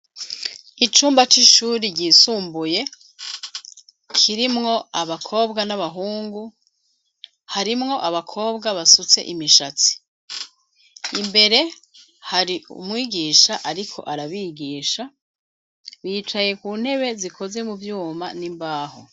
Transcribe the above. Icumba c'ishure ryisumbuye kirimwo abakobwa n'abahungu harimwo abakobwa basutse imisatsi imbere hari umwigisha ariko arabigisha wicaye ku ntebe zikoze mu vyuma n'imbaho.